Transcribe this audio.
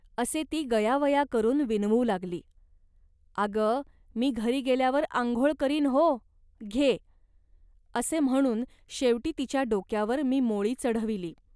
असे ती गयावया करून विनवू लागली. अग, मी घरी गेल्यावर आंघोळ करीन हो, घे" असे म्हणून शेवटी तिच्या डोक्यावर मी मोळी चढविली